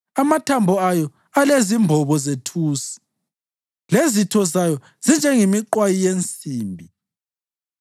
Amathambo ayo alezimbobo zethusi, lezitho zayo zinjengemiqwayi yensimbi.